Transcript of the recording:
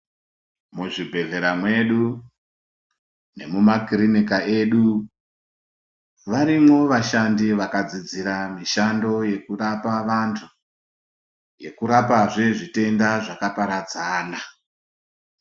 Muzvibhedhleya mwedu nemumakirinika edu. Varimwo vashandi vakadzidzira mishando yekurapa antu, yekurapazve zvitenda zvakaparadzana.